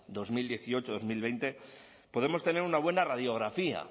dos mil dieciocho dos mil veinte podemos tener una buena radiografía